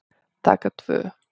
Taka tvö